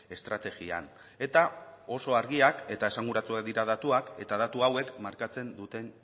estrategian eta oso argiak eta esanguratsuak dira datuak eta datu hauek markatzen duten